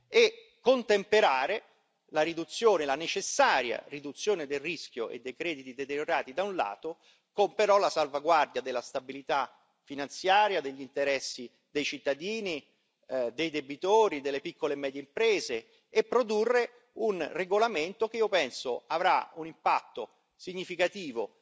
e contemperare la necessaria riduzione del rischio e dei crediti deteriorati, da un lato, con la salvaguardia della stabilità finanziaria, degli interessi dei cittadini, dei debitori, delle piccole e medie imprese e produrre un regolamento che io penso avrà un impatto significativo,